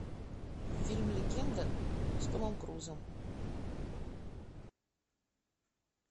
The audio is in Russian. фильм легенда с томом крузом